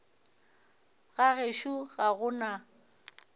ga gešo ga go na